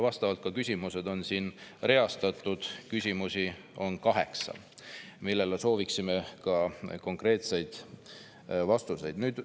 Vastavad küsimused on siin ka reastatud, neid on kaheksa, millele sooviksime ka konkreetseid vastuseid saada.